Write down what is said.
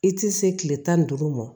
I tɛ se kile tan ni duuru ma